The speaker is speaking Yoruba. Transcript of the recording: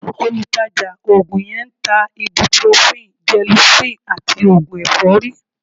Olùtajà oògùn yẹn ń ta ibuprofen, gelocin àti oògùn ẹ̀fọ́rí